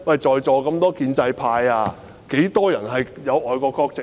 在座的建制派中有多少人有外國國籍？